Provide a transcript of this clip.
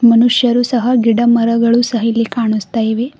ಮನುಷ್ಯರು ಸಹ ಗಿಡಮರಗಳು ಸಹ ಇಲ್ಲಿ ಕಾಣುಸ್ತಾ ಇವೆ.